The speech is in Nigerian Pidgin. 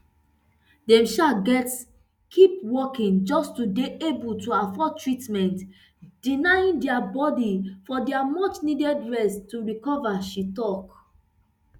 dem um gatz keep working just just to dey able to afford treatment denying dia body of di muchneeded rest to recover she tok